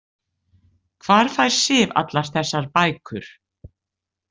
Hvar fær Sif allar þessar bækur?